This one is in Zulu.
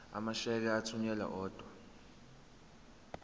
amasheke athunyelwa odwa